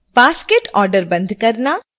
basket order बंद करना